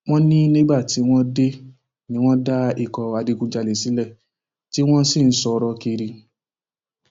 wọn ní nígbà tí wọn dé ni wọn dá ikọ adigunjalè sílẹ tí wọn sì ń sọrọ kiri